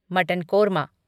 mutton korma